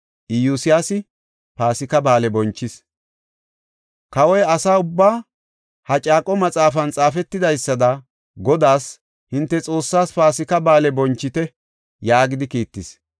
Kawoy asa ubbaa, “Ha caaqo Maxaafan xaafetidaysada Godaas, hinte Xoossaas Paasika Ba7aale bonchite” yaagidi kiittis.